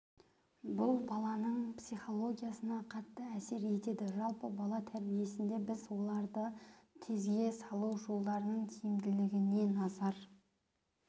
бұл баланың психологиясына қатты әсер етеді жалпы бала тәрбиесінде біз оларды тезге салу жолдарының тиімділігіне назар